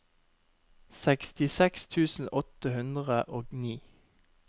sekstiseks tusen åtte hundre og ni